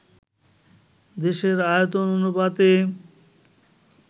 দেশের আয়তন অনুপাতে